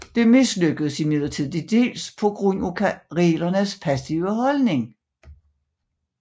Det mislykkedes imidlertid tildels på grund af karelernes passive holdning